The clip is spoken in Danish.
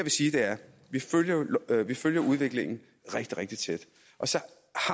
sige er at vi følger udviklingen rigtig rigtig tæt og så